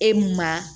E mun ma